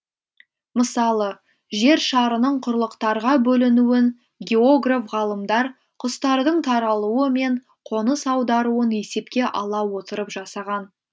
мысалы жер шарының құрлықтарға бөлінуін географ ғалымдар құстардың таралуы мен қоныс аударуын есепке ала отырып жасаған